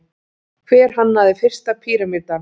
hver hannaði fyrsta píramídann